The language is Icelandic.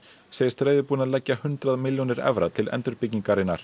segist reiðubúinn að leggja hundrað milljónir evra til